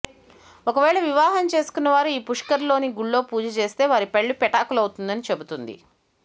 ఒక వేళ వివాహం చేసుకొన్నవారు ఈ పుష్కర్ లోని గుళ్లో పూజ చేస్తే వారి పెళ్లి పెటాకులవుతుందని చెబుతుంది